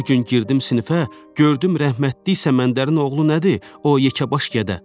O gün girdim sinifə, gördüm rəhmətlik Səməndərin oğlu nədir, o yekəbaş gədə.